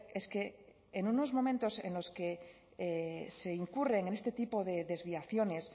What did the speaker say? es que en unos momentos en los que se incurren en este tipo de desviaciones